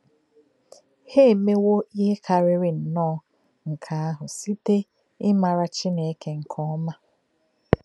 Hà èmè̄wò íhè kárìrì nnọ́ọ̄ nkè̄ àhụ̄ sịté̄ ímárà Chínèkè nkè̄ọ́má̄.